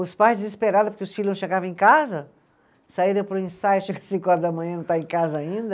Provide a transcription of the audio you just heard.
Os pais desesperados porque os filhos não chegava em casa, saíram para o ensaio, chega cinco horas da manhã e não estar em casa ainda.